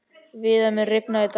Viðar, mun rigna í dag?